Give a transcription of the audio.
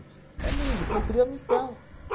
É lindo, cumpriu a missão.